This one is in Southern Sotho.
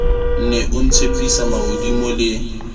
ne o ntshepisa mahodimo le